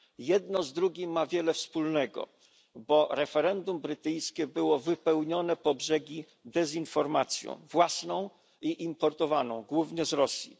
Jedno z drugim ma wiele wspólnego, bo referendum brytyjskie było wypełnione po brzegi dezinformacją własną i importowaną, głównie z Rosji.